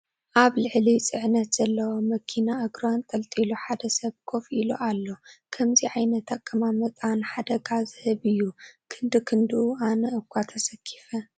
ኣብ ልዕሊ ፅዕነት ዘለዋ መኪና እግሩ ኣንጠልጢሉ ሓደ ሰብ ኮፍ ኢሉ ኣሎ፡፡ ከምዚ ዓይነት ኣቀማምጣ ንሓደ ዝህብ እዩ፡፡ ክንድ ክንድኡ ኣነ እዃ ተሰኪፈ፡፡